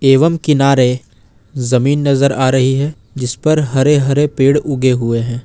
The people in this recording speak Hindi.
एवं किनारे जमीन नजर आ रही है जिस पे हरे हरे पेड़ उगे हुए हैं।